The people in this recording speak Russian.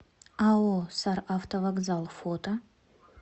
ао саравтовокзал фото